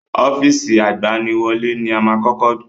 Ọ́fíìsì agbaniwọlẹ́ ni a máa kọ́kọ́ kàn